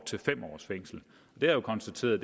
til fem års fængsel jeg har konstateret